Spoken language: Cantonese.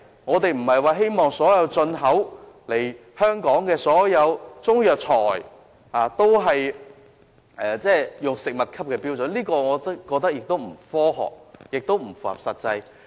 我們不希望所有進口本港的中藥材都要達到食物級別的標準，我認為這既不科學，也不切實際。